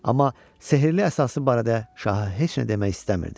Amma sehri əsası barədə şaha heç nə demək istəmirdi.